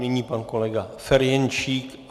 Nyní pan kolega Ferjenčík.